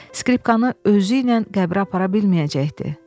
Skripkanı özü ilə qəbrə apara bilməyəcəkdi.